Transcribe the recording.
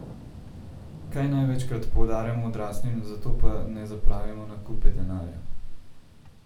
Kaj največkrat podarjamo odraslim, za to pa ne zapravimo na kupe denarja?